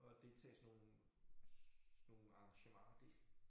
Og deltage i sådan nogle sådan nogle arrangementer det